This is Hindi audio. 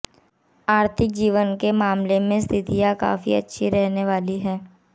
आर्थिक जीवन के मामले में स्थितियाँ काफी अच्छी रहने वाली हैं